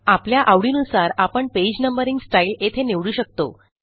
आपल्या आवडीनुसार आपणpage नंबरिंग स्टाईल येथे निवडू शकतो